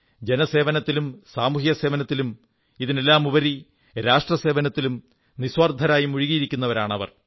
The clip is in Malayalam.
ജനസേവനത്തിലും സാമൂഹ്യസേവനത്തിലും ഇതിനെല്ലാമുപരി രാഷ്ട്രസേവനത്തിലും നിസ്വാർഥരായി മുഴുകിയിരിക്കുന്നവരാണവർ